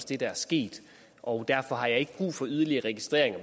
det der er sket og derfor har jeg ikke brug for yderligere registreringer